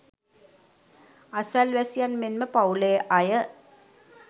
අසල්වැසියන් මෙන්ම පවුලේ අය